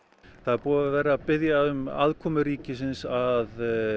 það er búið að vera að biðja um aðkomu ríkisins að